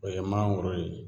O ye mangoro ye.